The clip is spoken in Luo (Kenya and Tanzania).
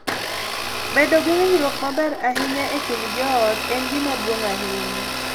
Bedo gi winjruok maber ahinya e kind joot en gima duong’ ahinya.